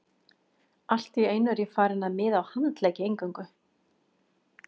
Allt í einu er ég farinn að miða á handleggi eingöngu.